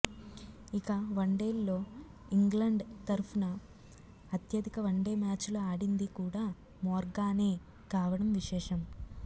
ఇక వన్డేల్లో ఇంగ్లండ్ తరఫున అత్యధిక వన్డే మ్యాచ్లు ఆడింది కూడా మోర్గానే కావడం విశేషం